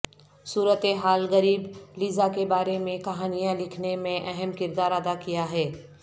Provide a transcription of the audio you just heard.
صورت حال غریب لیزا کے بارے میں کہانیاں لکھنے میں اہم کردار ادا کیا ہے